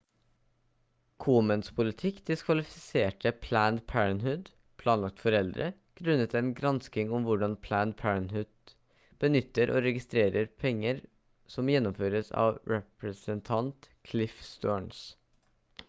komens politikk diskvalifiserte planned parenthood planlagt foreldre grunnet en gransking om hvordan planned parenthood benytter og registrerer penger som gjennomføres av representant cliff stearns